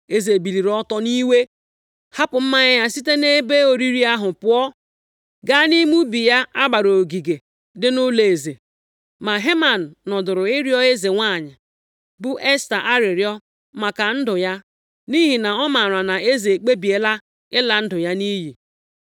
Eze biliri ọtọ nʼiwe, + 7:7 \+xt 1:12\+xt* hapụ mmanya ya site nʼebe oriri ahụ pụọ, gaa nʼime ubi ya a gbara ogige dị nʼụlọeze. Ma Heman nọdụrụ ịrịọ eze nwanyị, bụ Esta arịrịọ maka ndụ ya, nʼihi na ọ maara na eze ekpebiela ịla ndụ ya nʼiyi.